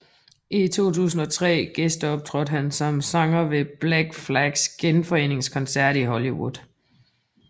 I 2003 gæsteoptrådte han som sanger ved Black Flags genforeningskoncert i Hollywood